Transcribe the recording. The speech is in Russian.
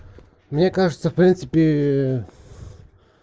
мне кажется в принципе